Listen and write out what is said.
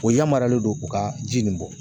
O yamaruyalen don u ka ji nin bɔ